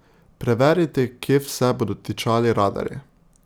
Preverite, kje vse bodo tičali radarji!